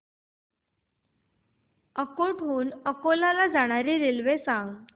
अकोट हून अकोला ला जाणारी रेल्वे सांग